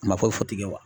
Kuma foyi fɔ ten wa